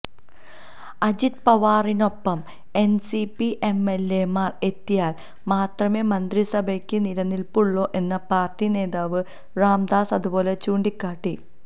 അജിത് പവാറിനൊപ്പം എൻസിപി എംഎൽഎമാർ എത്തിയാൽ മാത്രമേ മന്ത്രിസഭയ്ക്ക് നിലനിൽപ്പുള്ളൂ എന്ന് പാർട്ടി നേതാവ് രാംദാസ് അതുലെ ചൂണ്ടിക്കാട്ടി